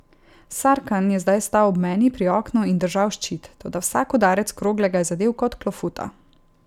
Sarkan je zdaj stal ob meni pri oknu in držal ščit, toda vsak udarec krogle ga je zadel kot klofuta.